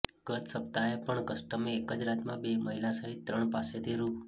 ગત સપ્તાહે પણ કસ્ટમે એક જ રાતમાં બે મહિલા સહિત ત્રણ પાસેથી રૂ